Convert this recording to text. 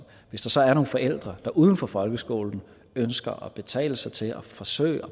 hvis der så er nogle forældre der uden for folkeskolen ønsker at betale sig til at forsøge